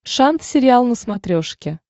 шант сериал на смотрешке